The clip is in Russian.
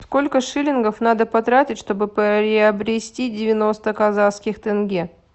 сколько шиллингов надо потратить чтобы приобрести девяносто казахских тенге